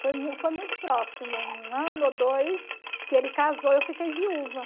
Foi mu foi muito próximo, um ano ou dois, que ele casou e eu fiquei viúva.